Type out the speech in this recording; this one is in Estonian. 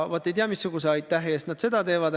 Vaat, ei tea missuguse aitähi eest nad seda teevad.